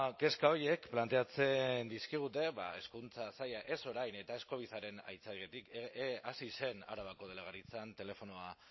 kezka horiek planteatzen dizkigute hezkuntza saila ez orain eta ez covidaren aitzakiatik hasi zen arabako delegaritzan telefonoa